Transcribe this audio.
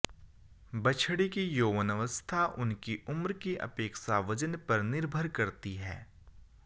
बछड़ी की यौवनवस्था उनकी उम्र की अपेक्षा वजन पर निर्भर करती है